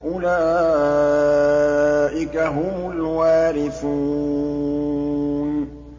أُولَٰئِكَ هُمُ الْوَارِثُونَ